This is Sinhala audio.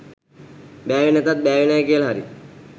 බෑවෙ නැතත් බෑවේ නෑ කියලා හරි